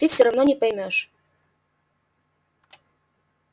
ты всё равно не поймёшь